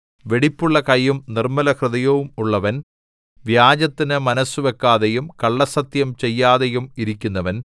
വെടിപ്പുള്ള കയ്യും നിർമ്മലഹൃദയവും ഉള്ളവൻ വ്യാജത്തിന് മനസ്സുവയ്ക്കാതെയും കള്ളസത്യം ചെയ്യാതെയും ഇരിക്കുന്നവൻ